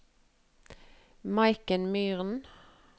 Maiken Myhren